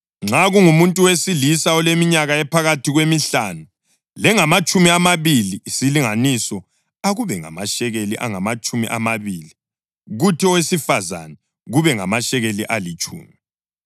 Nxa kungumuntu wesilisa oleminyaka ephakathi kwemihlanu lengamatshumi amabili, isilinganiso akube ngamashekeli angamatshumi amabili, kuthi owesifazane kube ngamashekeli alitshumi.